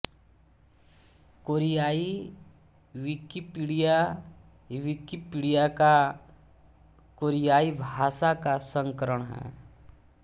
कोरियाई Wikipedia Wikipedia का कोरियाई भाषा का संस्करण है